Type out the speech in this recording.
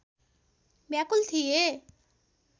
व्याकुल थिए